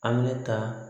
An bɛ ne ta